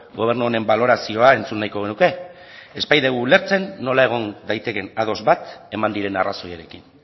gobernu honen balorazioa entzun nahiko genuke ez baitugu ulertzen nola egon daitekeen ados bat eman diren arrazoiarekin